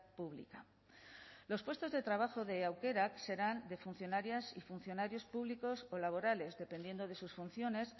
pública los puestos de trabajo de aukerak serán de funcionarias y funcionarios públicos o laborales dependiendo de sus funciones